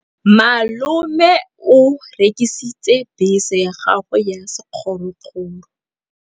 Malome o rekisitse bese ya gagwe ya sekgorokgoro.